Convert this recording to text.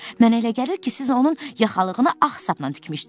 Mənə elə gəlir ki, siz onun yaxalığını ağ sapla tikmişdiniz.